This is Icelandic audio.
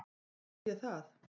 Sagði ég það?